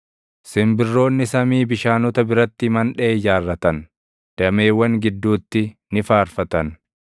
Simbirroonni samii bishaanota biratti mandhee ijaarratan; dameewwan gidduutti ni faarfatan.